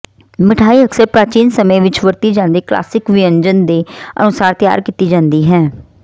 ਮਿਠਾਈ ਅਕਸਰ ਪ੍ਰਾਚੀਨ ਸਮੇਂ ਵਿਚ ਵਰਤੀ ਜਾਂਦੀ ਕਲਾਸਿਕ ਵਿਅੰਜਨ ਦੇ ਅਨੁਸਾਰ ਤਿਆਰ ਕੀਤੀ ਜਾਂਦੀ ਹੈ